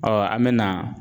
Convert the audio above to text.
Ɔ an bɛ na